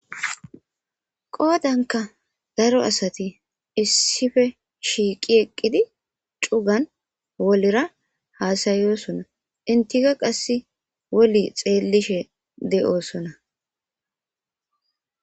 Qoodanka daro asati issife shiiqi eqqidi cugan wolira haasayosona intika qasse woli xeellishe de'oosona.